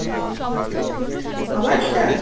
আবার star,